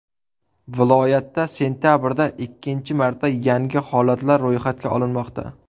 Viloyatda sentabrda ikkinchi marta yangi holatlar ro‘yxatga olinmoqda.